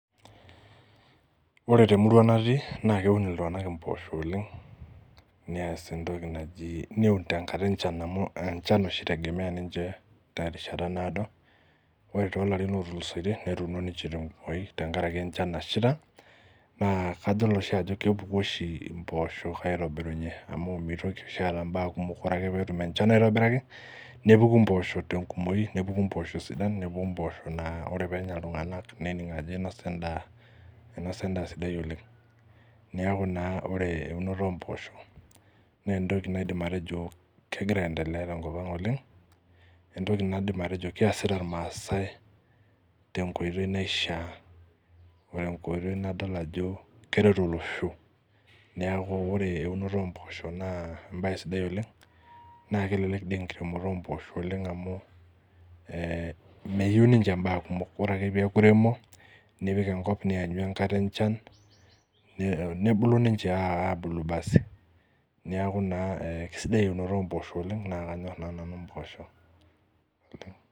Ore temurua natii naa keun iltung'anak impoosho oleng nias entoki naji neun tenkata enchan amu enchan oshi itegemea ninche terishata naado ore tolarin lotulusoitie netuuno ninche tenkumoi tenkaraki enchan nashaita naa kadol oshi ajo kepuku oshi impooshok aitobirunye amu mitoki oshi aata imbaa kumok ore ake peetum enchan aitobiraki nepuku impoosho tenkumoi nepuku impoosho sidan nepuku impoosho naa ore peenya iltung'anak nening ajo inosa endaa einosa endaa sidai oleng niaku naa ore eunoto ompoosho nentoki naidim atejo kegira aendelea tenkop ang oleng entoki naidim atejo kiasita irmaasae tenkoitoi naishia otenkoitoi nadol ajo keret olosho niaku ore eunoto omposha naa embaye sidai oleng naa kelelek dii enkiremoto ompoosho oleng amu eh meyieu ninche imbaa kumok ore ake piaku iremo nipik enkop nianyu enkata enchan ni nebulu ninche aabulu basi niaku naa eh kisidai eunoto ompoosho oleng naa kanyorr naa nanu impoosho.